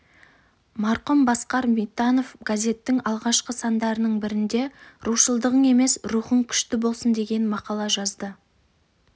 марқұм басқар битанов газеттің алғашқы сандарының бірінде рушылдығың емес рухың күшті болсын деген мақала жазды